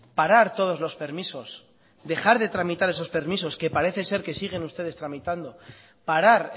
parar todos los permisos dejar de tramitar esos permisos que parece ser que siguen ustedes tramitando parar